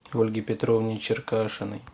ольге петровне черкашиной